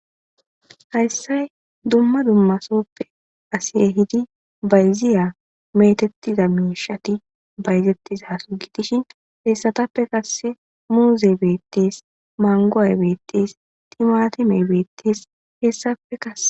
Hayiss dumma dumma sohoppe asi ehidi bayiziya bayzetidasso gidishin hesatappe qase muzey betes mangoy bettes timatimey bettes